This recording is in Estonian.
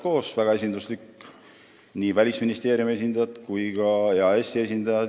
See on väga esinduslik: seal on nii Välisministeeriumi kui ka EAS-i esindajad.